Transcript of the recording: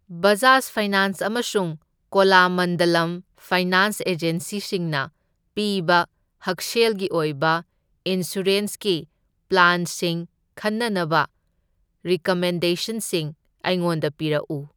Bajaj finance ꯑꯃꯁꯨꯡ Cholamandalam finance ꯑꯦꯖꯦꯟꯁꯤꯁꯤꯡꯅ ꯄꯤꯕ ꯍꯛꯁꯦꯜꯒꯤ ꯑꯣꯏꯕ ꯏꯟꯁꯨꯔꯦꯟꯁꯀꯤ ꯄ꯭ꯂꯥꯟꯁꯤꯡ ꯈꯟꯅꯅꯕ ꯔꯤꯀꯃꯦꯟꯗꯦꯁꯟꯁꯤꯡ ꯑꯩꯉꯣꯟꯗ ꯄꯤꯔꯛꯎ꯫